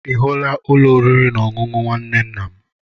Ihula Ụlọ oriri na ọṅụṅụ nwanne ńnà m.